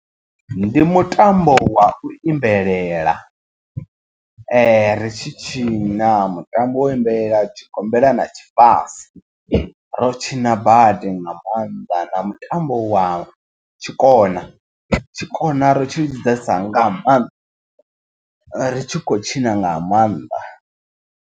Ndi mutambo wa u imbelela ri tshi tshina mutambo wo imbelela tshigombela na tshifase. Ro tshina badi nga maanḓa na mutambo wa tshikona. Tshikona ro tshi lidzesa nga maanḓa ri tshi khou tshina nga maanḓa.